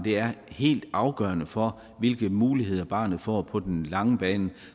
er helt afgørende for hvilke muligheder barnet får på den lange bane